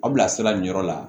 Aw bilasira nin yɔrɔ la